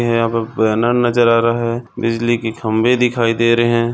है यहा पर बॅनर नज़र आ रहा है बिजली की खंबे दिखाई दे रहे है।